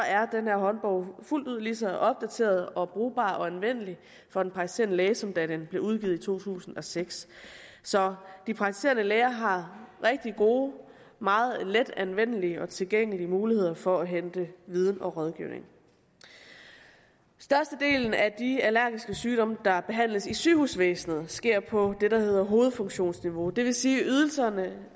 er den her håndbog fuldt ud lige så opdateret og brugbar og anvendelig for den praktiserende læge nu som da den blev udgivet i to tusind og seks så de praktiserende læger har rigtig gode meget let anvendelige og tilgængelige muligheder for at hente viden og rådgivning størstedelen af de allergiske sygdomme der behandles i sygehusvæsenet sker på det der hedder hovedfunktionsniveau det vil sige at ydelserne